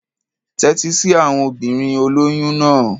Tẹ́tí sí àwon obìnrin olóyún náà.